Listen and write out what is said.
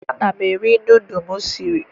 Ana m eri nudụ m siri